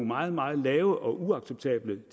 meget meget lave uacceptabelt